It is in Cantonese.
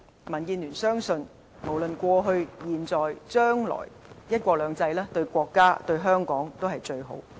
民建聯相信，無論過去、現在和將來，"一國兩制"對國家和香港也是最好。